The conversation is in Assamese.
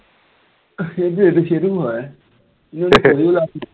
সেইটোৱেইতো সেইটোও হয়, লাভ নাই